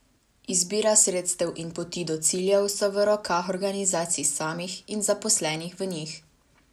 Izbira sredstev in poti do ciljev so v rokah organizacij samih in zaposlenih v njih.